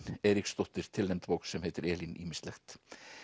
Eiríksdóttir tilnefnd bók sem heitir Elín ýmislegt